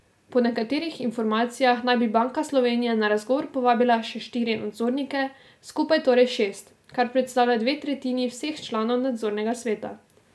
Po nekaterih informacijah naj bi Banka Slovenije na razgovor povabila še štiri nadzornike, skupaj torej šest, kar predstavlja dve tretjini vseh članov nadzornega sveta.